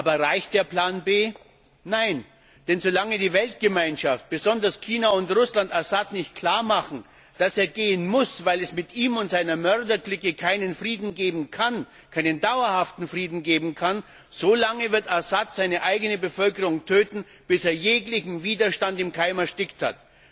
Aber reicht der Plan B? Nein! Denn solange die Weltgemeinschaft, besonders China und Russland, Assad nicht klarmachen, dass er gehen muss, weil es mit ihm und seiner Mörderclique keinen dauerhaften Frieden geben kann, solange wird Assad seine eigene Bevölkerung töten, bis er jeglichen Widerstand im Keim erstickt hat.